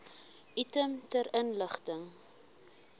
item ter inligting